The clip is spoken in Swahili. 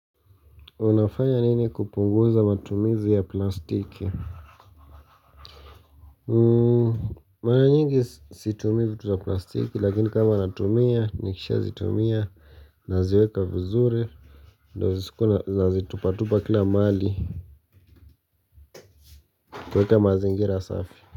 Unafanya nini kupunguza matumizi ya plastiki? Mara nyingi situmii vitu za plastiki, lakini kama natumia, nikisha zitumia, naziweka vizuri. Ndo iskuwe nazitupa tupa kila mali. Kuweka mazingira safi.